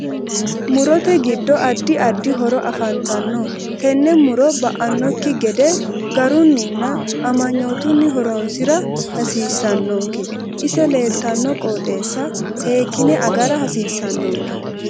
Murote giddo addi addi horo afantanno tene muro ba'anokki gede garuninna amagnootuni horoosira hasiisanonke ise leeltano qoxeesa seekine agara hasiisanonke